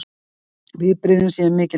Viðbrigðin séu mikil fyrir hann